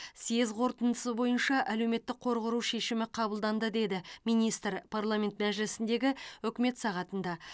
съезд қорытындысы бойынша әлеуметтік қор құру шешімі қабылданды деді министр парламент мәжілісіндегі үкімет сағатында